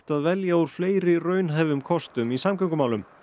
að velja úr fleiri raunhæfum kostum í samgöngumálum